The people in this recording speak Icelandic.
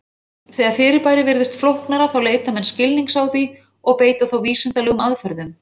Þegar fyrirbærið virðist flóknara þá leita menn skilnings á því og beita þá vísindalegum aðferðum.